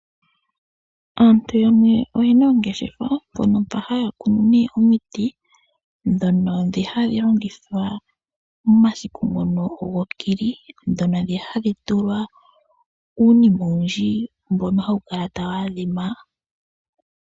Aantu yamwe oye na oongeshefa, mpono mpa haya kunu omiti ndhono hadhi longithwa momasiku gokili, ndhono hadhi tulwa uunima owundji, mbono hawu kala tawu adhima.